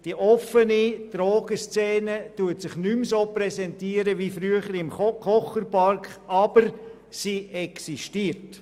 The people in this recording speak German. Die offene Drogenszene präsentiert sich nicht mehr wie früher im Kocherpark, aber sie existiert.